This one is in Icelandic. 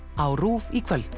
á RÚV í kvöld